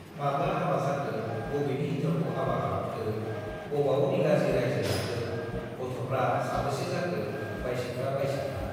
माब्ला हाबा जाखो, बबेनि हिन्जावखौ हाबा खालामखो, बबाव निगाजि राइजो जाखो, गथ'फ्रा साबेसे जाखो - बाइसेथ्रा बाइसेथ्रा।